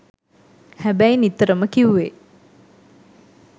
හැබැයි නිතරම කිව්වේ